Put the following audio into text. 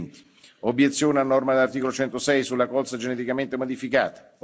e 2020 Obiezione a norma dell'articolo 106 sulla Colza geneticamente modificata